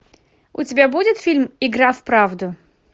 у тебя будет фильм игра в правду